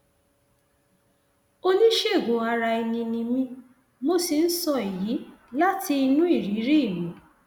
oníṣègùnaraẹni ni mí mo sì ń sọ èyí láti inú ìrírí mi